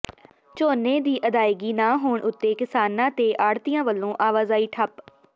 ਝੋਨੇ ਦੀ ਅਦਾਇਗੀ ਨਾ ਹੋਣ ਉੱਤੇ ਕਿਸਾਨਾਂ ਤੇ ਆੜ੍ਹਤੀਆਂ ਵੱਲੋਂ ਆਵਾਜਾਈ ਠੱਪ